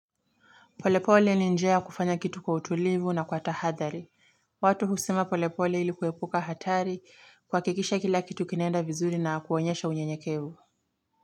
Polepole ni njea kufanya kitu kwa utulivu na kwa tahathari. Watu husima polepole ilikuwepuka hatari kwa kikisha kila kitu kinenda vizuri na kuonyesha unyenyekevu.